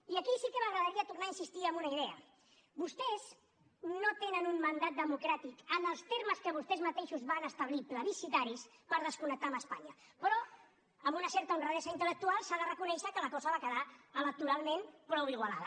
i aquí sí que m’agradaria tornar a insistir en una idea vostès no tenen un mandat democràtic en els termes que vostès mateixos van establir plebiscitaris per desconnectar d’espanya però amb una certa honradesa intel·lectual s’ha de reconèixer que la cosa va quedar electoralment prou igualada